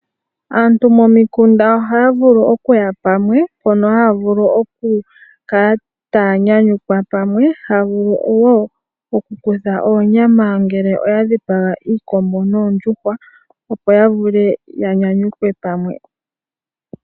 Aantu momikunda ohaya vulu oku ya pamwe mpono haya vulu oku kala taya nyanyukwa pamwe ano wo oku kutha oonyama ngele oya dhipaga iikombo noondjuhwa, opo ya vule ya nyanyukwe pamwe.